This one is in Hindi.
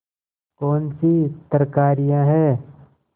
कौनसी तरकारियॉँ हैं